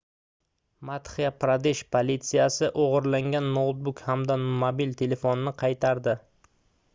madxya-pradesh politsiyasi oʻgʻirlangan noutbuk hamda mobil telefonni qaytardi